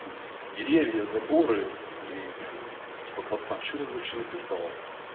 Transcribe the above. деревья заборы и прям типа парень что-то вообще тут написал